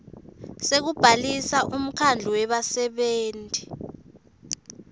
sekubhalisa umkhandlu webasebenti